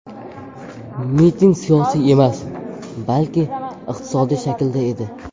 Miting siyosiy emas, balki iqtisodiy shaklda edi.